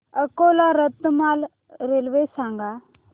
Akola Ratlam railway सांगा